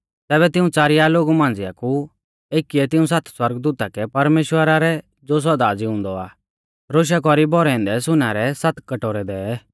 तैबै तिऊं च़ारिया लोगु मांझ़िआ कु एकीऐ तिऊं सात सौरगदूता कै परमेश्‍वरा रै ज़ो सौदा ज़िउंदौ आ रोशा कौरी भौरै औन्दै सुनै रै सात कटोरै दै